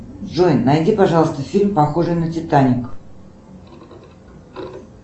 джой найди пожалуйста фильм похожий на титаник